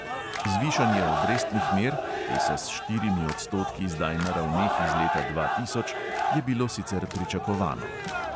Zvišanje obrestnih mer (te so s štirimi odstotki zdaj na ravneh iz leta dva tisoč) je bilo sicer pričakovano.